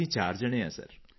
ਅਸੀਂ ਚਾਰ ਜਣੇ ਹਾਂ ਸਰ